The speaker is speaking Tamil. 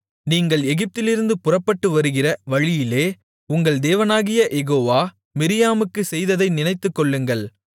நீங்கள் எகிப்திலிருந்து புறப்பட்டு வருகிற வழியிலே உங்கள் தேவனாகிய யெகோவா மிரியாமுக்குச் செய்ததை நினைத்துக்கொள்ளுங்கள்